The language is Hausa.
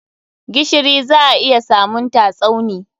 Gishiri za a iya samunta Tsauni.